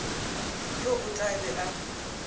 yo o tla be a